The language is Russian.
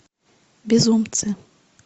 безумцы